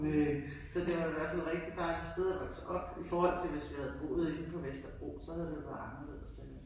Næ, så det var i hvert fald rigtig dejligt sted at vokse op i forhold til hvis vi havde boet inde på Vesterbro så havde det jo været anderldes end